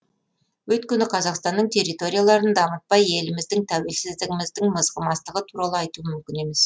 өйткені қазақстанның территорияларын дамытпай еліміздің тәуелсіздігіміздің мызғымастығы туралы айту мүмкін емес